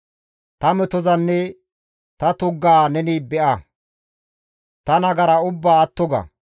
Ta metozanne ta tuggaa neni be7a; Ta nagara ubbaa atto ga.